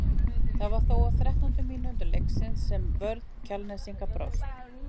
Það var þó á þrettándu mínútu leiksins sem að vörn Kjalnesinga brást.